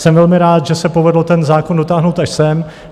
Jsem velmi rád, že se povedlo ten zákon dotáhnout až sem.